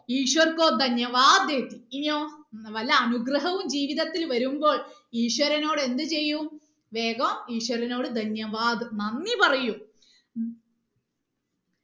ഈശ്വർ ഇനിയോ വല്ല അനുഗ്രഹവും ജീവിതത്തിൽ വരുമ്പോൾ ഈശ്വരനോട് എന്ത് ചെയ്യും വേഗം ഈശ്വരനോട് നന്ദി പറയും